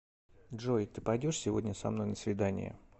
джой ты пойдешь сегодня со мной на свидание